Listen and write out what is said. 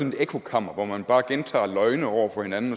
et ekkokammer hvor man bare gentager løgne over for hinanden